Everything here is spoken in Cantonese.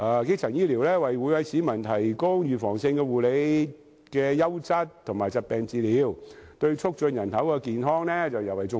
基層醫療為每位市民提供預防性護理和優質和疾病治理，對促進人口的健康尤為重要......